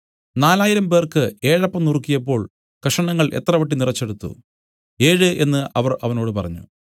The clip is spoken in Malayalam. നാലായിരംപേർക്ക് ഏഴപ്പം നുറുക്കിയപ്പോൾ കഷണങ്ങൾ എത്ര വട്ടി നിറച്ചെടുത്തു ഏഴ് എന്നു അവർ അവനോട് പറഞ്ഞു